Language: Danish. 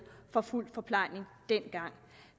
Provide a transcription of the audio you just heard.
for fuld forplejning dengang